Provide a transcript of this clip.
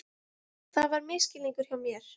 Þetta var misskilningur hjá mér.